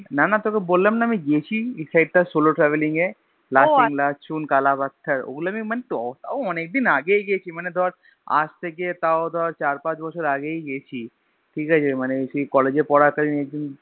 না না তোকে বললাম না আমি গেছি SoloTraveling এ Lachen Lachungकाला पत्थर ওগুলা আমি মানে তোর তাও আমি তোর অনেকদিন আগেই গেছি মানে ধর আজ থেকে তাও ধর চার্ পাঁচ বছর আগেই গেছি ঠিকাছে মানে সেই College এ পরাকালিন